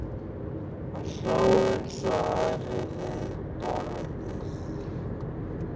Hann hló eins og aðrir við borðið.